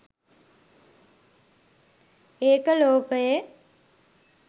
ඒක ලෝකයේ